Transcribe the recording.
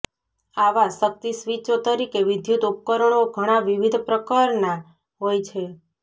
આવા શક્તિ સ્વીચો તરીકે વિદ્યુત ઉપકરણો ઘણાં વિવિધ પ્રકારના હોય છે